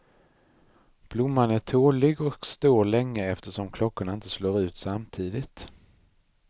Blomman är tålig och står länge eftersom klockorna inte slår ut samtidigt.